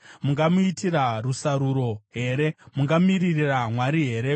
Mungamuitira rusaruro here? Mungamiririra Mwari here?